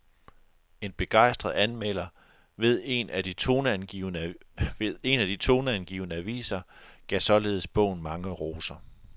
En begejstret anmelder ved en af de toneangivende aviser gav således bogen mange roser.